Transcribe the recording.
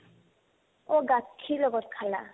অ, গাখীৰ লগত খালা